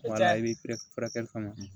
Wala i bɛ furakɛli kɔnɔ